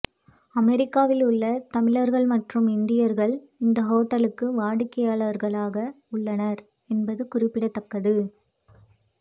அமெரிக்காவில் உள்ள தமிழர்கள் மற்றும் இந்தியர்கள் இந்த ஓட்டலுக்கு வாடிக்கையாளர்களாக உள்ளனர் என்பது குறிப்பிடத்தக்கது